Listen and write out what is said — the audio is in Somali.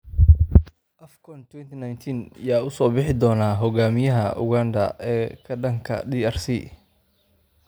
AFCON 2019: Yaa u soo bixi doona hogaamiyaha Uganda ee ka dhanka ah DRC?